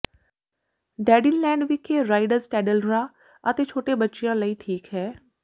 ਡੈਡਿਨਲੈਂਡ ਵਿਖੇ ਰਾਈਡਜ਼ ਟੈਡਲਰਾਂ ਅਤੇ ਛੋਟੇ ਬੱਚਿਆਂ ਲਈ ਠੀਕ ਹੈ